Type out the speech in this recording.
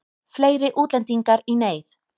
Fleiri útlendingar í neyð